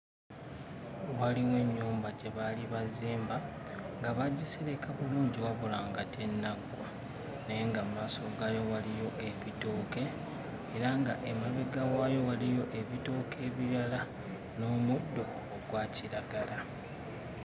Waliwo ennyumba gye baali bazimba, nga baagisereka bulungi wabula nga tennaggwa naye nga mu maaso gaayo waliyo ebitooke era ng'emabega waayo waliyo ebitooke ebirala n'omuddo ogwa kiragala.